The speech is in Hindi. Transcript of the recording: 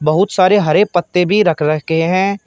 बहुत सारे हरे पत्ते भी रख रखे हैं।